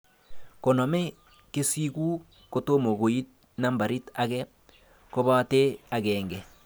koname kesiku kotom koitu nambarit age kobate akenge